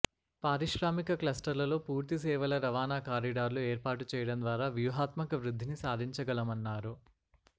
పారిశ్రామిక క్లస్టర్లలో పూర్తిసేవల రవాణా కారిడార్లు ఏర్పాటుచేయడంద్వారా వ్యూహాత్మక వృద్ధిని సాధించగలమన్నారు